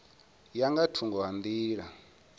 ya nga thungo ha nḓila